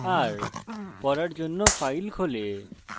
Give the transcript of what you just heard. rপড়ার জন্য file খোলে